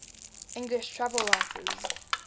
english travel writers